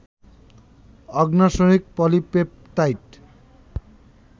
অগ্ন্যাশয়িক polypeptide